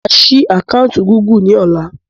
Máa sì àkántì Gúgù ni ọ̀la.